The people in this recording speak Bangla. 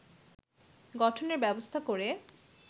গঠনের ব্যবস্থা করে